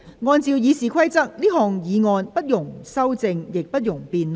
根據《議事規則》，這項議案不容修正，亦不容辯論。